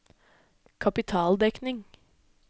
kapitaldekning